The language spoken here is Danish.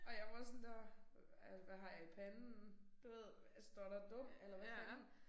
Og jeg var sådan der øh hvad har jeg i panden? Du ved står der dum eller hvad fanden